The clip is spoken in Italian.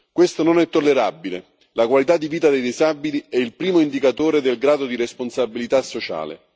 Questo non è tollerabile la qualità di vita dei disabili è il primo indicatore del grado di responsabilità sociale.